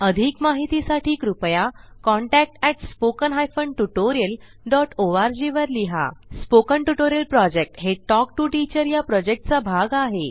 अधिक माहितीसाठी कृपया contact at spoken hyphen tutorial dot org वर लिहा स्पोकन ट्युटोरियल प्रॉजेक्ट हे टॉक टू टीचर या प्रॉजेक्टचा भाग आहे